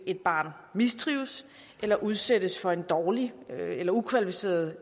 et barn mistrives eller udsættes for en dårlig eller ukvalificeret